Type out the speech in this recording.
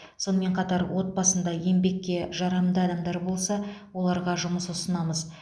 сонымен қатар отбасында еңбекке жарамды адамдар болса оларға жұмыс ұсынамыз